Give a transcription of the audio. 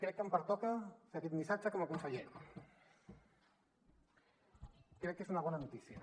crec que em pertoca fer aquest missatge com a conseller crec que és una bona notícia